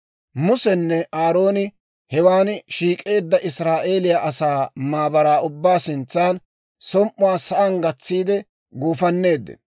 Musenne Aarooni hewan shiik'eedda Israa'eeliyaa asaa maabaraa ubbaa sintsan som"uwaa sa'aan gatsiide guufanneeddino.